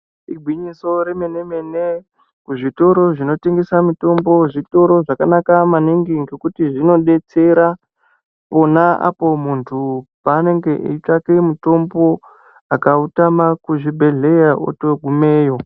Igwinyiso remenemene kuzvitoro zvinotengesa mitombo, zvitoro zvakanaka maningi ngokuti zvinodetsera pona apo muntu paanenge eitsvake mitombo, akautama kuzvibhedhleya otogumeyo.